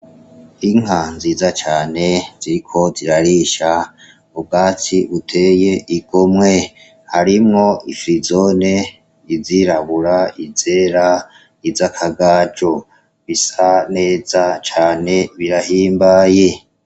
Inka nziza cane ziriko zirarisha ubwatsi uteye igomwe harimwo ifrizone izirabura izera izo akagajo bisa neza cane birahimbaye.